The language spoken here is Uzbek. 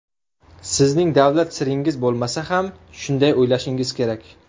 Sizning davlat siringiz bo‘lmasa ham shunday o‘ylashingiz kerak.